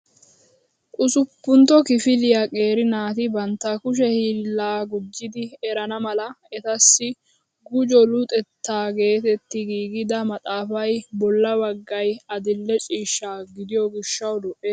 Usuppuntto kifiliyaa qeeri naati bantta kushe hiillaa gujjidi erana mala etassi gujo luxetta geetetti giigida maxaafay bolla baggay adil'e ciishsha gidiyoo gishshawu lo"ees!